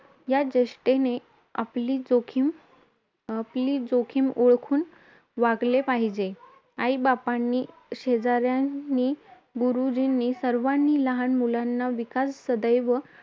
या ज्येष्ठाने आपली जोखीम अं आपली जोखीम ओळखून वागले पाहिजे. आईबापांनी, शेजाऱ्यांनी, गुरुजींनी सर्वांनी लहान मुलांचा विकास सदैव